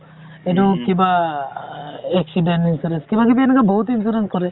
সেইটো কিবা আ accident insurance কিবা কিবি এনেকুৱা বহুত insurance কৰে